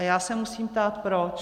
A já se musím ptát proč.